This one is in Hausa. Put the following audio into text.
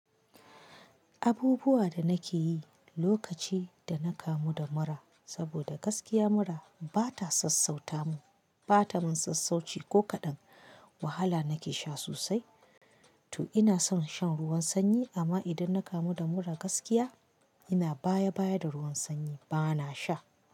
Abubuwa da nake yi lokaci da na kamu da mura, saboda gaskiya mura bata sassauta mu, bata mun sassauci ko kaɗan. Wahala nake sha sosai. To ina son shan ruwan sanyi amma idan na kamu da mura gaskiya, ina baya baya da ruwan sanyi bana sha.